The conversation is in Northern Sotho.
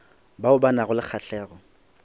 bao ba nago le kgahlego